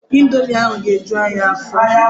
Indomi ahụ ga-eju anyị afọ.